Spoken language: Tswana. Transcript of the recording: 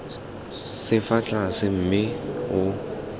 se fa tlase mme o